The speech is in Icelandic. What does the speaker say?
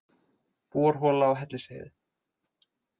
Borhola á Hellisheiði.